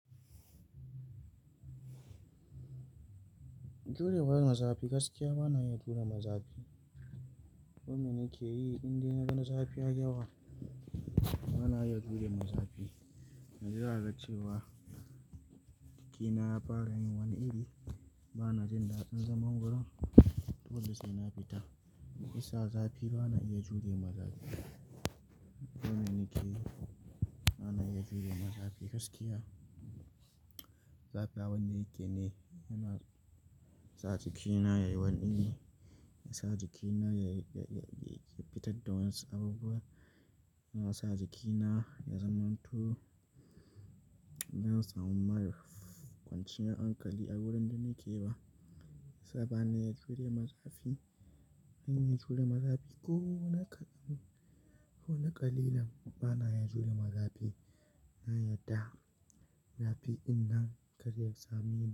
Jurewa ga zafi gaskiya ba na iya jure mazafi. Komi nike yi inda naga na zafi yayi yawa, ba na iya jure mazafi. Yanzu zaka ga cewa jikina ya fara yin wani iri, ba na jin daɗin zaman wurin. Dole sai na fita. Shi yasa zafi ba na iya jure mazafi. Komi nike yi, ba na iya jure mazafi gaskiya. Zafi abin da yake ne, yana sa jikina ya yi wani iri, ya sa jikina ya, ya, ya, ya, ya fita da wani abubuwa, yana sa jikina ya zamanto, yana sa mun mar kwanciyar hankali a wurin da nike ba. Saboda ba na iya jure mazafi, in na iya jure mazafi ko na ƙaɗan, ko na ƙalilan, ba na iya jure mazafi. Na yarda zafi ɗin nan kadda ya sami ni.